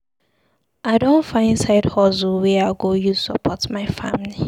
I don find side hustle wey I go use support my family.